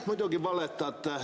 Muidugi valetate.